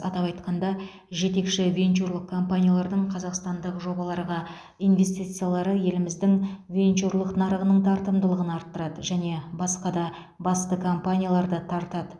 атап айтқанда жетекші венчурлық компаниялардың қазақстандық жобаларға инвестициялары еліміздің венчурлық нарығының тартымдылығын арттырады және басқа да басты компанияларды тартады